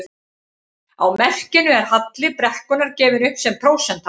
Á merkinu er halli brekkunnar gefinn upp sem prósenta.